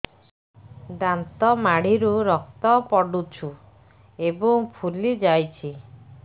ଦାନ୍ତ ମାଢ଼ିରୁ ରକ୍ତ ପଡୁଛୁ ଏବଂ ଫୁଲି ଯାଇଛି